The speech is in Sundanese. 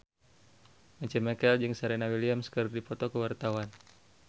Once Mekel jeung Serena Williams keur dipoto ku wartawan